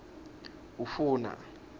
ufuna